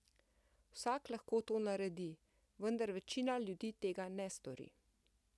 Vsak lahko to naredi, vendar večina ljudi tega ne stori.